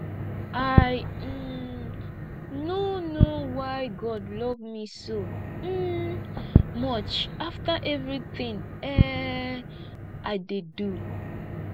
i um no know why god love me so um much after everything um i dey do